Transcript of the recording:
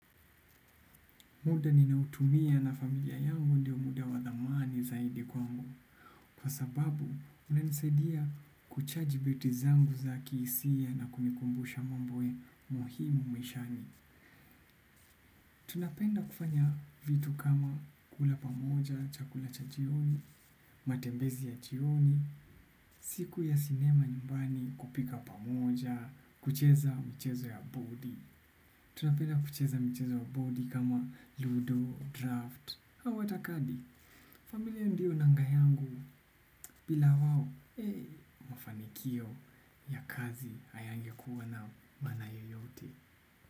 Muda ninaotumia na familia yangu ndio muda wa thamani zaidi kwangu. Kwa sababu, unanisaidia kuchaji battery zangu za kihisia na kunikumbusha mambo muhimu maishani. Tunapenda kufanya vitu kama kula pamoja, chakula cha jioni, matembezi ya jioni, siku ya sinema nyumbani kupika pamoja, kucheza mchezo ya bodi. Tunapenda kucheza mchezo wa bodi kama ludo, draft, au hata kadi. Familia ndiyo nanga yangu bila wao. Mafanikio ya kazi hayangekuwa na maana yoyote.